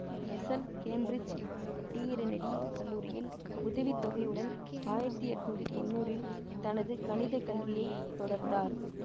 Russell Cambridge Trinity கல்லூரியில் உதவி தொகையுடன் ஆயிரத்தி எண்ணூற்றி தொன்னூறில் தனது கணித கல்வியை தொடர்ந்தார்